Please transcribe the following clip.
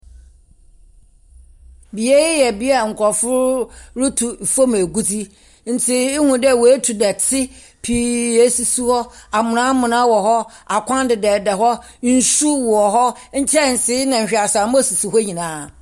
Beae yɛ bea a nkurɔfo retu fɔm agudze, ntsi ehu dɛ watu dɛte pii asisi hɔ. Amona amona wɔhɔ, akwan dedadeda hɔ, nsu wɔ hɔ, nkyɛnsee na hweaseamɔ sisi hɔ nyinaa.